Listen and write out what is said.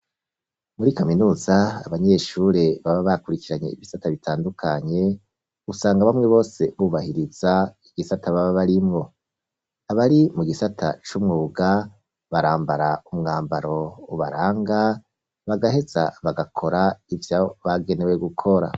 Muri kaminuza, abanyeshure baba bakurikiranye ibisata bitandukanye, usanga bamwe bose, bubahiriza igisata baba barimwo; abari mu gisata c'umwuga, barambara umwambaro ubaranga, bagaheza bagakora ivyo bagenewe gukora.